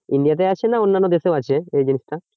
India তে আছে না অন্যান্য দেশেও আছে এই জিনিসটা?